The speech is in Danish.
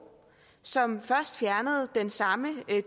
som først fjernede den samme